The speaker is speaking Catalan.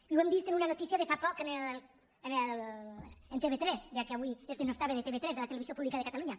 i ho hem vist en una notícia de fa poc a tv3 ja que avui es denostava tv3 la televisió pública de catalunya